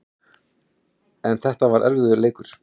En þetta var erfiður leikur